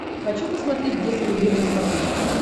хочу посмотреть детский мир на смотрешке